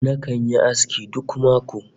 Nakan yi aski duk mako